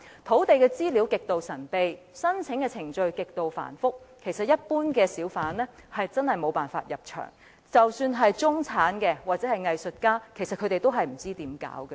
土地資料極度神秘，申請程序極度繁複，一般小販真的無法入場，即使是中產人士或藝術家，也不知道應怎樣做。